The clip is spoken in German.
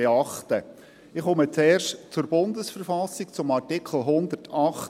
Ich komme zuerst zur Bundesverfassung (BV), zum Artikel 108.